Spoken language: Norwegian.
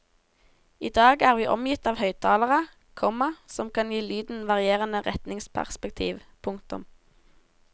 I dag er vi omgitt av høyttalere, komma som kan gi lyden varierende retningsperspektiv. punktum